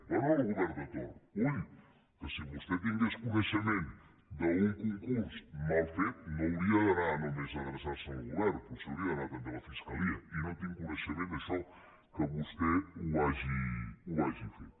bé al govern de torn ull que si vostè tingués coneixement d’un concurs mal fet no hauria d’anar només a adreçar se al govern potser hauria d’anar també a la fiscalia i no tinc coneixement que vostè això ho hagi fet